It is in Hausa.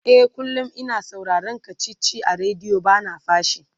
e kullum. ina sauraron kachichi a radio bana fashi